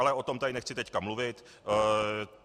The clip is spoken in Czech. Ale o tom tady nechci teď mluvit.